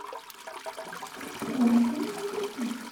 помоги мне выбрать фильм